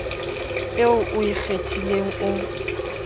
eo o e kgethileng o